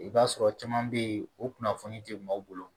I b'a sɔrɔ caman be yen o kunnafoni tɛ maaw bolo